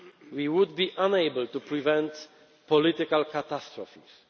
policy, we would be unable to prevent political catastrophes.